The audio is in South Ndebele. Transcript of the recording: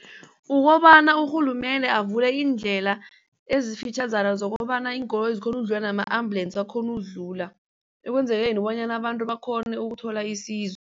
Ukobana urhulumende avule iindlela ezifitjhazana zokobana zikhona ukudlula nama-ambulance akhona ukudlula ekwenzeleni bonyana abantu bakghone ukuthola isizo.